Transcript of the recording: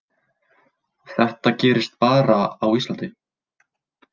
Þetta gerist bara á Íslandi.